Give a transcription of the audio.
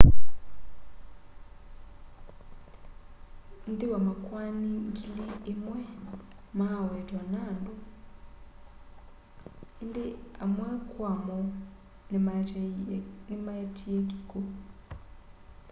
nthĩ wa makwani ngili ĩmwe ma'awetwa andunĩ ĩndĩ amwe kwamo nĩ maetie kĩkw'ũ